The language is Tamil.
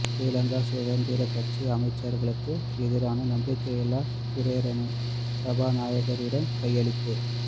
ஶ்ரீலங்கா சுதந்திர கட்சி அமைச்சர்களுக்கு எதிரான நம்பிக்கையில்லா பிரேரணை சபாநாயகரிடம் கையளிப்பு